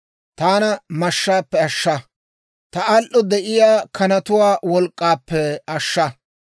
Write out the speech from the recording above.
Taana mashshaappe ashsha; ta uushshuwan de'iyaa kanatuwaa wolk'k'aappe ashsha.